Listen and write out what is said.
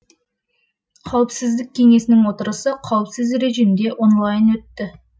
қауіпсіздік кеңесінің отырысы қауіпсіз режимде онлайн өтті